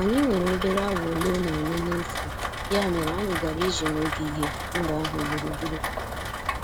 Anyị nwere obere awa ole na ole n'efu, ya mere anyị gara ije n'ogige mba ahụ gburugburu.